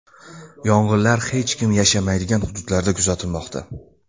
Yong‘inlar hech kim yashamaydigan hududlarda kuzatilmoqda.